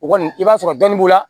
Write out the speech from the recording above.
O kɔni i b'a sɔrɔ dɔɔni b'u la